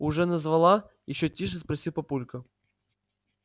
уже назвала ещё тише спросил папулька